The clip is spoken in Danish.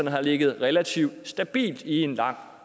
har ligget relativt stabilt i en lang